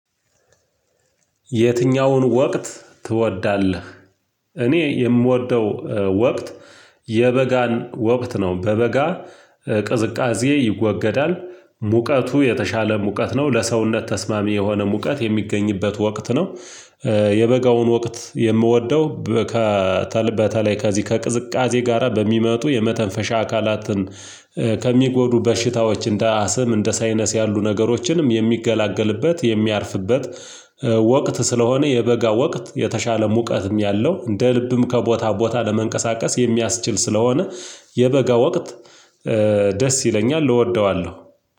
የትኛውን ወቅት ትወዳለህሦስት? እኔ የምወደው ወቅት የበጋን ወቅት ነው። በበጋ ቅዝቃዜ ይወገዳል ሙቀቱ የተሻለ ሙቀት ነው። ለሰውነት ተስማሚ የሆነ ሙቀት የሚገኝበት ወቅት ነው። የበጋውን ወቅት የምወደው ከ በተለይ ከዚህ ከቅዝቃዜ ጋራ በሚመጡ የመተንፈሻ አካላትን ከሚጎዱ በሽታዎች እንደ አስም እንደ ሳይነስ ያሉ ነገሮችንም የሚገላገልበት የሚያርፍበት ወቅት ስለሆነ የበጋ ወቅት የተሻለ ሙቀትም ያለው እንደ ልብም ከቦታ ቦታ ለመንቀሳቀስ የሚያስችል ስለሆነ የበጋ ወቅት ደስ ይለኛል እወደዋለሁ።